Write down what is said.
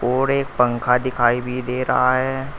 और एक पंखा दिखाई भी दे रहा है।